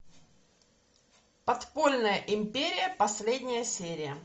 подпольная империя последняя серия